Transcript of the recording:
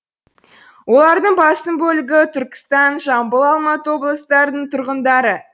олардың басым бөлігі түркістан жамбыл алматы облыстарының тұрғындары